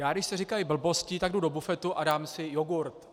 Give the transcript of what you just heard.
Já, když se říkají blbosti, tak jdu do bufetu a dám si jogurt.